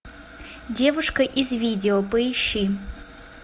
девушка из видео поищи